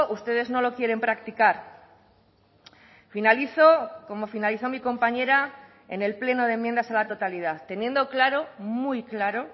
ustedes no lo quieren practicar finalizo como finalizó mi compañera en el pleno de enmiendas a la totalidad teniendo claro muy claro